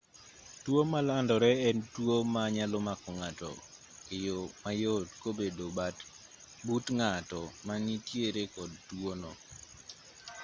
tuo malandore en tuo ma nyalo mako ng'ato e yo mayot kobedo but ng'at ma nitiere kod tuo no